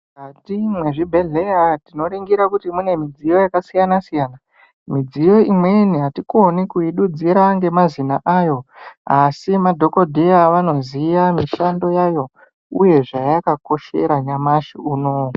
Mukati mwezvibhedhleya tinoringira kuti mune midziyo yakasiyana-siyana. Midziyo imweni hatikoni kuidudzira ngemazina ayo, asi madhokodheya vanoziya mishando yayo, uye zvayakakoshera nyamashi unowu.